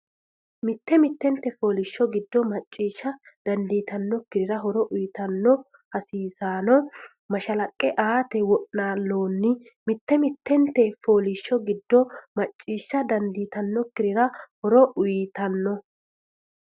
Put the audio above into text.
Mitte mittenti fooliishsho giddo macciishsha dandiitannokkirira horo uyitanno hasiissanno mashalaqqe aate wo’naalloonni Mitte mittenti fooliishsho giddo macciishsha dandiitannokkirira horo uyitanno.